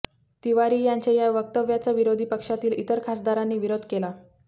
तिवारी यांच्या या वक्तव्याचा विरोधी पक्षातील इतर खासदारांनी विरोध केला